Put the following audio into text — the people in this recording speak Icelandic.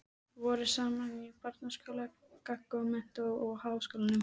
Voru saman í barnaskóla, gaggó, menntó og háskólanum.